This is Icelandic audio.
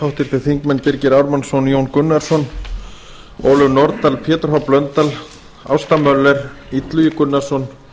háttvirtir þingmenn birgir ármannsson jón gunnarsson ólöf nordal pétur h blöndal ásta möller illugi gunnarsson